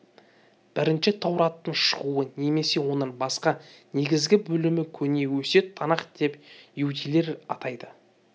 бірінші таураттың шығуы немесе оның басқа негізгі бөлімі көне өсиет танах деп иудейлер атайды